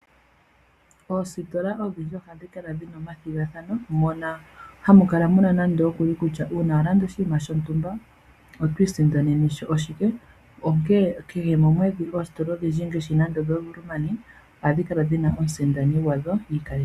Oositola oshindji ohadhi kala dhina omathigathano mono hamukala muna kutya uuna walanda oshinima shontumba oto isindanenemo shike onkee kehe momwedhi moositola odhindji ngaashi moositola dho Woermann ohadhi kala dhina omusindano gwadho.